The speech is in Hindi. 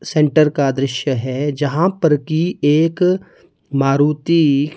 सेंटर का दृश्य है जहाँ पर की एक मारुती--